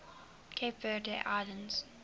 cape verde islands